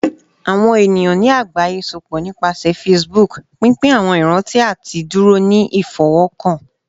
Awọn eniyan ni agbaye sopọ nipasẹ Facebook, pinpin awọn iranti ati duro ni ifọwọkan